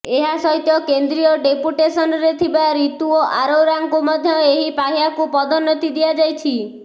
ଏହାସହିତ କେନ୍ଦ୍ରୀୟ ଡେପୁଟେସନରେ ଥିବା ରିତୁ ଆରୋରାଙ୍କୁ ମଧ୍ୟ ଏହି ପାହ୍ୟାକୁ ପଦୋନ୍ନତି ଦିଆଯାଇଛି